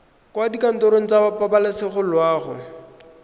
kwa dikantorong tsa pabalesego loago